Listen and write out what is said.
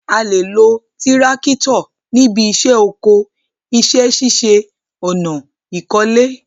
A lè lo tírákítọ̀ níbi iṣẹ́ oko, iṣẹ́ ṣíṣe ọ̀nà, ìkọ́lé